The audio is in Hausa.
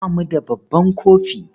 Ba mu da babban kofi.